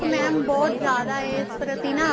mam ਬਹੁਤ ਜਿਆਦਾ ਏ ਇਸ ਪ੍ਰਤੀ ਨਾ